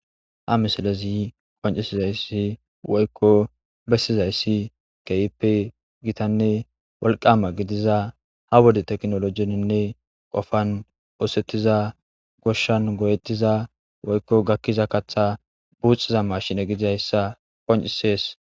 Ha misilezi qoncisizayssi woyko bessizayssi kehippe wolqama gidizaysa ha wode tekinolojezinne kopan goshan go7etiza woyko gakiza kaththa buuciza maashine gidizaysa qoncisees.